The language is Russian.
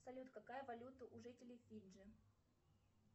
салют какая валюта у жителей фиджи